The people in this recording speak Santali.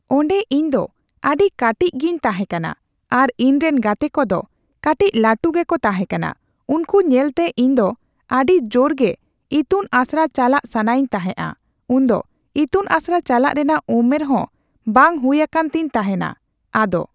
ᱚᱸᱰᱮ ᱤᱧ ᱫᱚ ᱟᱹᱰᱤ ᱠᱟᱴᱤᱡ ᱜᱮᱧ ᱛᱟᱦᱮᱸ ᱠᱟᱱᱟ ᱟᱨ ᱤᱧ ᱨᱮᱱ ᱜᱟᱛᱮ ᱠᱚᱫᱚ ᱠᱟᱴᱤᱪ ᱞᱟᱹᱴᱩ ᱜᱮᱠᱚ ᱛᱟᱦᱮᱸ ᱠᱟᱱᱟ ᱩᱱᱠᱩ ᱧᱮᱞ ᱛᱮ ᱤᱧ ᱫᱚ ᱟᱹᱰᱤ ᱡᱳᱨ ᱜᱮ ᱤᱛᱩᱱ ᱟᱥᱲᱟ ᱪᱟᱞᱟᱜ ᱥᱟᱱᱟᱭᱤᱧ ᱛᱟᱦᱮᱸᱫᱼᱟ ᱾ᱩᱱ ᱫᱚ ᱤᱛᱩᱱᱟᱥᱲᱟ ᱪᱟᱞᱟᱜ ᱨᱮᱱᱟᱜ ᱩᱢᱮᱨᱦᱚ ᱦᱚᱸ ᱵᱟᱝ ᱦᱩᱭ ᱟᱠᱟᱱ ᱛᱤᱧ ᱛᱟᱦᱮᱸᱱᱟ ᱾ᱟᱫᱚ